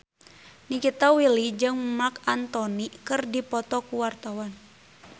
Nikita Willy jeung Marc Anthony keur dipoto ku wartawan